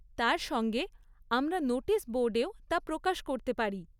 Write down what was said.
তার সঙ্গে, আমরা নোটিস বোর্ডেও তা প্রকাশ করতে পারি।